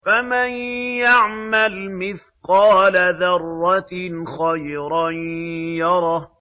فَمَن يَعْمَلْ مِثْقَالَ ذَرَّةٍ خَيْرًا يَرَهُ